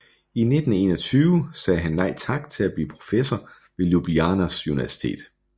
I 1921 sagde han nej tak til at blive professor ved Ljubljanas Universitet